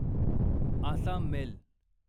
Assam mail